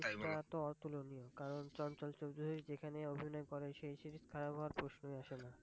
এটা তো ওতুলনিয়! কারন চঞ্ছল চৌধরী যেখানেই অভিনয় করে সেই Series খারাপ হওয়ার প্রশ্নই আসে না।